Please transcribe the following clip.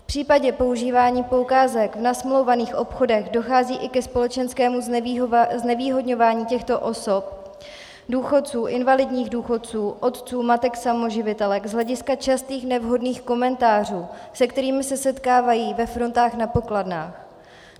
V případě používání poukázek v nasmlouvaných obchodech dochází i ke společenskému znevýhodňování těchto osob, důchodců, invalidních důchodců, otců, matek samoživitelek z hlediska častých nevhodných komentářů, se kterými se setkávají ve frontách na pokladnách.